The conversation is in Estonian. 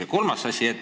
Ja kolmas asi.